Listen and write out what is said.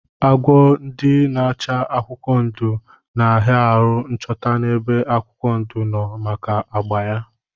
Agwọ ndi n'acha akwụkwọ ndụ na aha aru nchọta na ebe akwụkwọ ndụ nno maka agba ya.